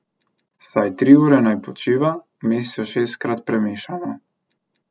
Vsaj tri ure naj počiva, vmes jo šestkrat premešamo.